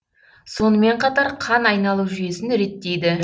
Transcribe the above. сонымен қатар қан айналу жүйесін реттейді